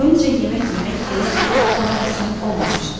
Doyunca yemək yemək hələ ki ona qismət olmamışdı.